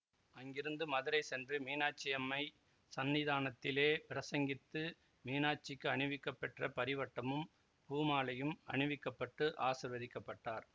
அங்கிருந்து மதுரை சென்று மீனாட்சியம்மை சந்நிதானத்திலே பிரசங்கித்து மீனாட்சிக்கு அணிவிக்கப்பெற்ற பரிவட்டமும் பூமாலையும் அணிவிக்கப்பட்டு ஆசீர்வதிக்கப்பட்டார்